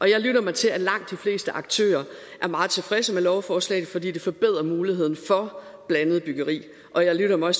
jeg lytter mig til at langt de fleste aktører er meget tilfredse med lovforslaget fordi det forbedrer muligheden for blandet byggeri og jeg lytter mig